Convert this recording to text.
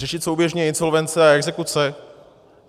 Řešit souběžně insolvence a exekuce?